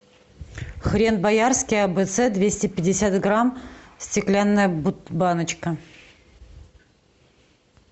хрен боярский абц двести пятьдесят грамм стеклянная баночка